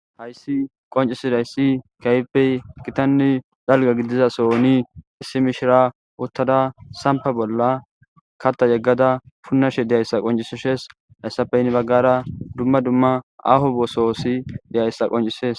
hayssi qoncisidayssi kayppey kitanni dalga gidizasoni issi mishira uttada sampa bolla katta yeggada punnashe deyayssa qoncisshes hayssapeynni baggara dumma dumma aho boososi deyayssa qoncises